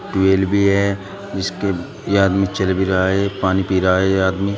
Tubewell भी है जिसपे ये आदमी चल भी रहा है पानी पी रहा है ये आदमी।